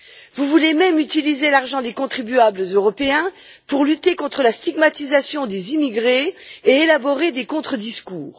Vous voulez même utiliser l'argent des contribuables européens pour lutter contre la stigmatisation des immigrés et élaborer des contre discours.